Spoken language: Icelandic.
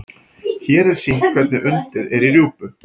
hér er sýnt hvernig undið er í rjúpu